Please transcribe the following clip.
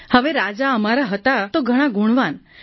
હવે રાજા અમારા હતા તો ઘણાં ગુણવાન